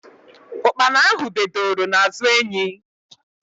Ukpana ahụ bee doro n'azụ enyi